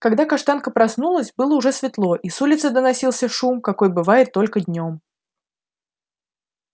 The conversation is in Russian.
когда каштанка проснулась было уже светло и с улицы доносился шум какой бывает только днём